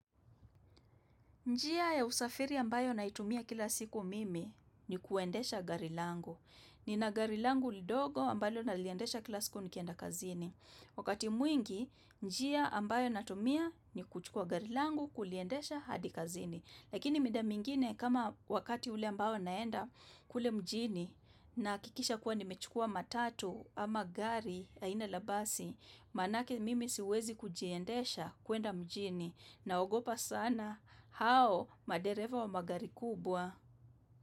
Njia ya usafiri ambayo naitumia kila siku mimi ni kuendesha gari langu. Nina gari langu dogo ambalo naliendesha kila siku nikienda kazini. Wakati mwingi, njia ambayo natumia ni kuchukua gari langu kuliendesha hadi kazini. Lakini mida mingine kama wakati ule ambao naenda kule mjini nahakikisha kuwa nimechukua matatu ama gari aina la basi, Manake mimi siwezi kujiendesha kuenda mjini naogopa sana. Hao, madereva wa magari kubwa.